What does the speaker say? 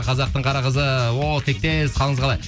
қазақтың қара қызы о тектес қалыңыз қалай